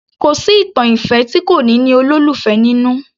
Kò sí ìtàn ìfẹ́ tí kò ní ní olólùfẹ́ nínú